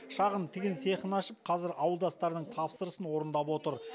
шағын тігін цехын ашып қазір ауылдастарының тапсырысын орындап отыр